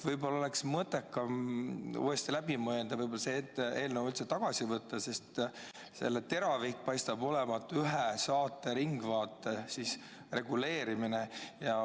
Võib-olla oleks mõttekam uuesti läbi mõelda, kas võiks selle eelnõu üldse tagasi võtta, sest selle teravik paistab olevat suunatud ühe saate, nimelt "Ringvaate" reguleerimisele.